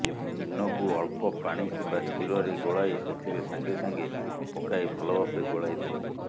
ଇନୋକୁ ଅଳ୍ପ ପାଣି କିମ୍ୱା କ୍ଷୀରରେ ଗୋଳାଇ ସେଥିରେ ସାଙ୍ଗେ ସାଙ୍ଗେ ପକାଇ ଭଲ ଭାବେ ଗୋଳାଇ ଦେବେ